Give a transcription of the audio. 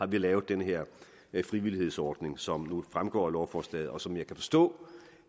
vi lavet den her frivillighedsordning som jo fremgår af lovforslaget og som jeg kan forstå